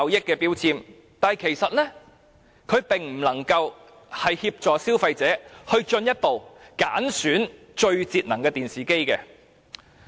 然而，這其實未能協助消費者挑選最節能的電視機。